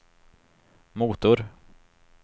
motor